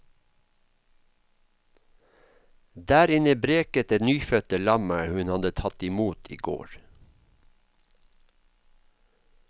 Der inne breket det nyfødte lammet hun hadde tatt i mot igår.